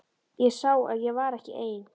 Ég sá að ég var ekki einn.